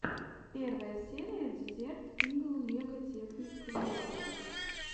первая серия дезерт игл лего текник криэйшн